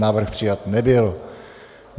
Návrh přijat nebyl.